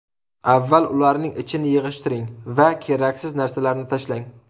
Avval ularning ichini yig‘ishtiring va keraksiz narsalarni tashlang.